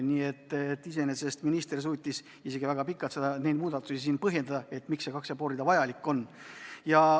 Nii et iseenesest minister suutis isegi väga pikalt põhjendada, miks need kaks ja pool rida vajalikud on.